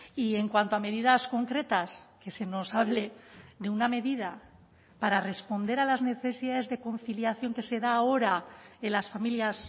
y en cuanto a medidas concretas que se nos hable de una medida para responder a las necesidades de conciliación que se da ahora en las familias